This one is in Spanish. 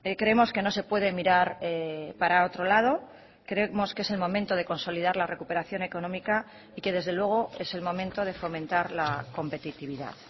creemos que no se puede mirar para otro lado creemos que es el momento de consolidar la recuperación económica y que desde luego es el momento de fomentar la competitividad